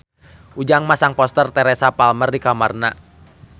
Ujang masang poster Teresa Palmer di kamarna